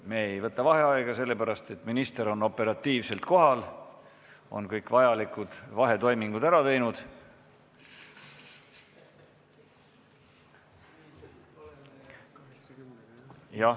Me ei võta vaheaega sellepärast, et minister on operatiivselt kohal, ta on kõik vajalikud vahetoimingud ära teinud.